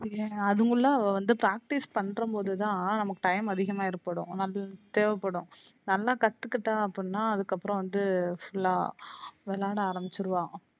இல்ல அதுக்குள்ள அவ வந்து practice பண்றம்போது தான் நமக்கு time அதிகமா ஏற்படும் வந்து தேவப்படும் நல்லாகத்துக்கிட்டா அப்படினா அதுக்கு அப்றம் வந்து full லா விளையாட ஆரம்பிச்சுருவா.